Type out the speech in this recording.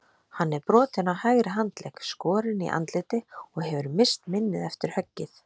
Hann er brotinn á hægri handlegg, skorinn í andliti og hefur misst minnið eftir höggið.